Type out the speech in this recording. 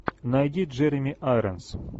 найди джереми айронс